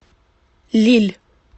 лилль